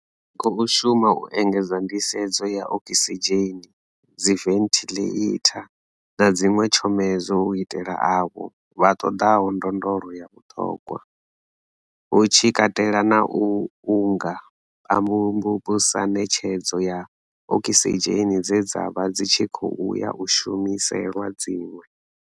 Ri khou shuma u engedza nḓisedzo ya okisidzheni, dziventhiḽeitha na dziṅwe tshomedzo u itela avho vha ṱoḓaho ndondolo ya vhuṱhogwa, hu tshi katela na u nga pambusa ṋetshedzo ya okisidzheni dze dza vha dzi tshi khou ya u shumiselwa dziṅwe.